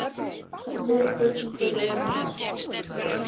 Sif Huld tekur undir það.